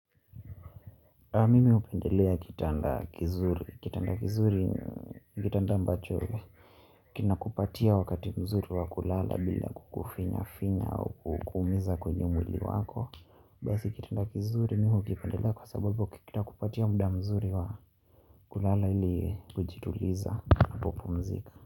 Mimi hupendelea kitanda kizuri. Kitanda kizuri, kitanda ambacho. Kinakupatia wakati mzuri wa kulala bila kukufinyafinya au kukuumiza kwenye mwili wako. Basi kitanda kizuri mi hukipendelea kwa sababu kitakupatia muda mzuri wa kulala ili kujituliza unapopumzika.